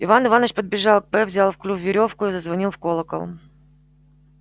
иван иваныч подбежал к п взял в клюв верёвку и зазвонил в колокол